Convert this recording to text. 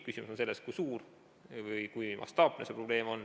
Küsimus on selles, kui suur või mastaapne see probleem on.